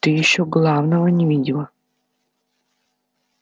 ты ещё главного не видела